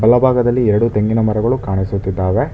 ಎಡ ಭಾಗದಲ್ಲಿ ಎರಡು ತೆಂಗಿನ ಮರಗಳು ಕಾಣಿಸುತ್ತಿದ್ದಾವೆ.